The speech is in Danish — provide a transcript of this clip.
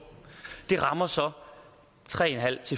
rammer så tre en halv